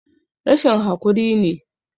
Rashin hakuri ne